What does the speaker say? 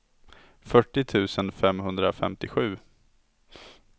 fyrtio tusen femhundrafemtiosju